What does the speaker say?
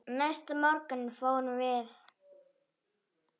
Næsta morgun fórum við